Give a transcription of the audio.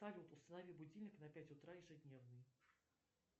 салют установи будильник на пять утра ежедневно